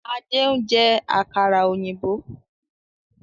Ade n jẹ àkàrà òyìnbó